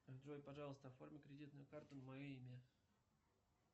джой пожалуйста оформи кредитную карту на мое имя